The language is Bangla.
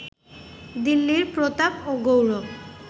দিল্লীর প্রতাপ ও গৌরব